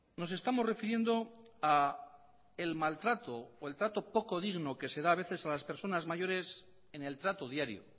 nos estamos refiriendo a el maltrato o trato poco digno que se da a veces a las personas mayores en el trato diario